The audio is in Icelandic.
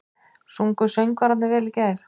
Sungu söngvararnir vel í gær?